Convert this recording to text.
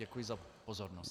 Děkuji za pozornost.